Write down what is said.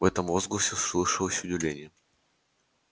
в этом возгласе слышалось удивление